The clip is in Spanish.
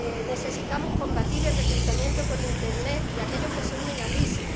Necesitamos combatir el reclutamiento por internet de aquellos que se unen al ISIS